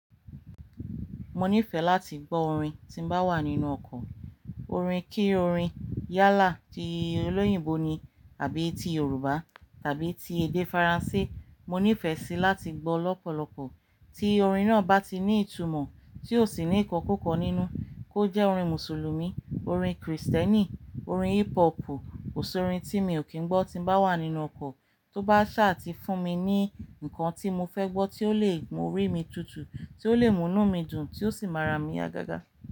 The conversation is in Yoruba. Mo nífẹ̀ẹ́ láti gbọ́ orin tí ń bá wà nínú ọkọ̀. Orin kí orin yálà ti olóyìnbó ni àbí ti Yorùbá tàbí ti èdè Faransé. Mo nífẹ̀ẹ́ síi láti gbọ́ lọ́pọ̀lọpọ̀ tí orin náà bá ti ní ìtumọ̀ tí ó sì ní ìkọ́kukọ́ nínú. Kó jẹ́ orin Mùsùlùmí, orin Krìstẹ́nì, orin hip hopu, kòṣórín tí mi ò kí ń gbọ́ tí ń bá wà nínú ọkọ̀ tó bá ṣàa ti fún mi ní ǹkan tí mo fẹ́ gbọ́ tí ó lè mú orí mi tutù, tí ó lè múnú mi dùn tí ó sì mára mi ya gaga.